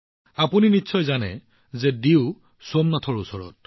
আপোনালোকে জানে যে ডিউ সোমনাথৰ ওচৰত আছে